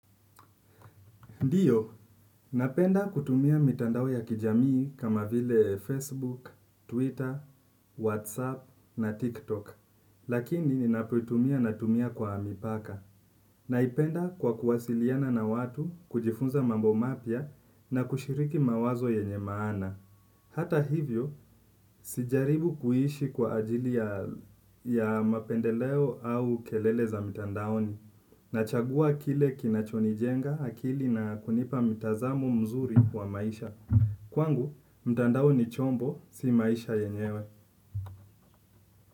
Ndiyo napenda kutumia mtandao ya kijamii kama vile facebook, twitter, whatsapp na pia tiktok lakini ninapoitumia naitumia kwa mipaka. Naipenda kwa kuwasiliana na watu kujifunza mambo mapya na kushiriki mawazo yenye maana. Hata hivyo, sijaribu kuishi kwa ajili ya mapendeleo au kelele za mitandaoni. Nachagua kile kinachonijenga akili na kunipa mitazamo mzuri wa maisha kwangu, mtandao ni chombo si maisha yenyewe.